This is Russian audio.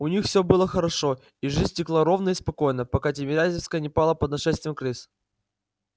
у них всё было хорошо и жизнь текла ровно и спокойно пока тимирязевская не пала под нашествием крыс